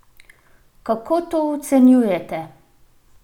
Kako to ocenjujete?